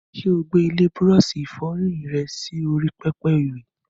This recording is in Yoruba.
Ṣé o gbé ilé búrọ́ọ̀ṣì ìfọyín rẹ sí orí pẹpẹ ìwẹ̀?